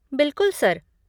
बिलकुल, सर।